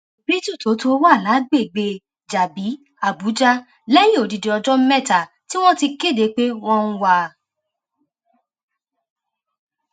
beetle tó tó wà lágbègbè jábì àbújá lẹyìn odidi ọjọ mẹta tí wọn ti kéde pé wọn ń wá a